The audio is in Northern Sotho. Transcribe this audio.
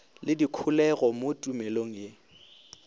le dikholego mo tumelong ye